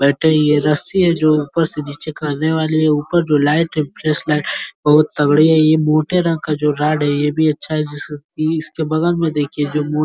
रस्सी है जो ऊपर से नीचे करने वाली। ऊपर जो लाइट है फ़्रेश बहोत तगड़ी है और यह मोटे रंग का राड है। यह भी अच्छा है। इसके बगल में देखिए जो मो --